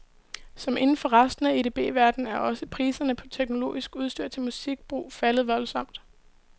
Som inden for resten af edb-verdenen er også priserne på teknologisk udstyr til musikbrug faldet voldsomt.